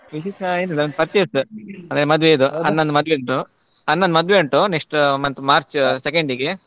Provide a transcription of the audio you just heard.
ವಿಶೇಷ ಏನಿಲ್ಲ purchase ಮದುವೆದು ಇದೆ ಅಣ್ಣನ ಮದುವೆ ಉಂಟು ಅಣ್ಣನ ಮದುವೆ ಉಂಟು next month March second ಗೆ.